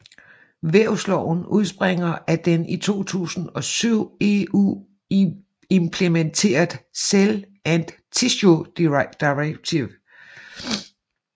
Vævsloven udspringer af den i 2007 EU implementeret Cell and Tissue Directive